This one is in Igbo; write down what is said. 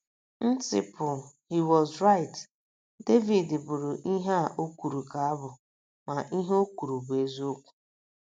nciple, he was right! Devid bụrụ ihe a o kwuru ka abụ, ma, ihe o kwuru bụ eziokwu.